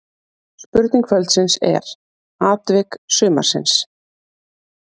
Spurning kvöldsins er: Atvik sumarsins?